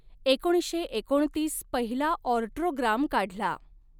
एकोणीसशे एकोणतीस पहिला ऑर्टोग्राम काढला.